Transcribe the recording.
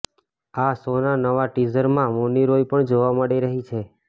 આ શોના નવા ટીઝરમાં મૌની રોય પણ જોવા મળી રહી છે